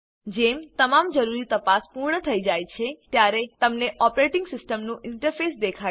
જેમ તમામ જરૂરી તપાસ પૂર્ણ થઇ જાય છે ત્યારે તમને ઓપરેટીંગ સીસ્ટમનું ઇન્ટરફેસ દેખાશે